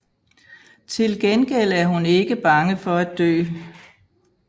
Tilgengæld er hun ikke bange for at dø